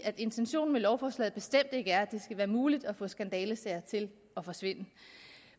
at intentionen med lovforslaget bestemt ikke er at det skal være muligt at få skandalesager til at forsvinde